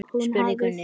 spurði Gunni.